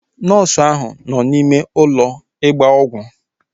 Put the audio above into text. Nọọsu áhụ̀ nọ n'ime ụlọ ịgba ọgwụ